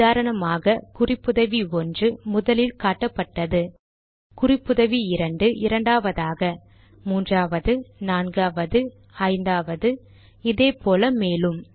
உதாரணமாக குறிப்புதவி 1 முதலில் காட்டப்பட்டது குறிப்புதவி 2 இரண்டாவதாக 3 ஆவது 4ஆவது 5ஆவது இதே போல மேலும்